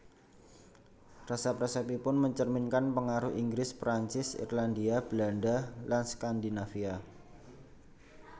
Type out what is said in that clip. Resep resepipun mencerminkan pengaruh Inggris Perancis Irlandia Belanda lan Skandinavia